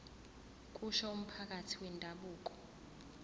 kusho umphathi wendabuko